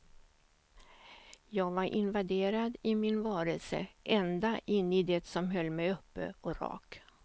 Jag var invaderad i min varelse, ända in i det som höll mig uppe och rak.